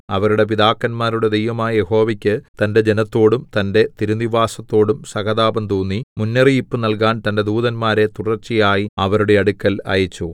അവരുടെ പിതാക്കന്മാരുടെ ദൈവമായ യഹോവയ്ക്ക് തന്റെ ജനത്തോടും തന്റെ തിരുനിവാസത്തോടും സഹതാപം തോന്നി മുന്നറിയിപ്പ് നൽകാൻ തന്റെ ദൂതന്മാരെ തുടർച്ചയായി അവരുടെ അടുക്കൽ അയച്ചു